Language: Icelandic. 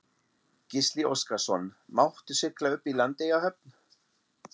Gísli Óskarsson: Máttu sigla upp í Landeyjahöfn?